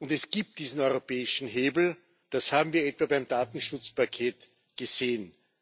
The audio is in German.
Es gibt diesen europäischen Hebel, das haben wir etwa beim Datenschutzpaket gesehen.